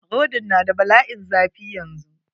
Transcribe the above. Rodin n da bala'in zafi yanzu.